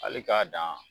Hali k'a dan